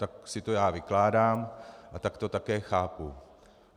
Tak si to já vykládám a tak to také chápu.